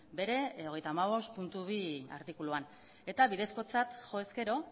bere hogeita hamabost puntu bi artikuluan eta bidezkotzat jo ezkero